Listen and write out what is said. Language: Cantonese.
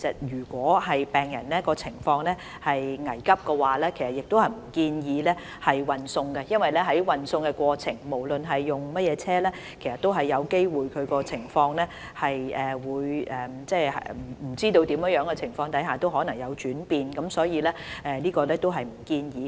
如果病人的情況危急，我們不建議進行運送，因為運送過程中，不論使用甚麼車輛，病人的情況均有機會在不明的原因下轉變，所以我們不建議這樣做。